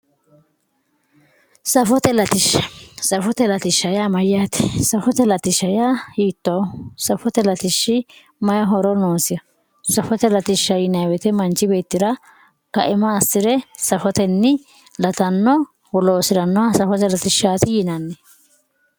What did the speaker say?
Safote latisha safote latisha yaa mayate safote latisha yaa hiitoho safote latishi mayi horo noosiho safote latisha yinemo woyite manchi beetira kaima asire safoteni latanoha loosiranoha safote latishati yinani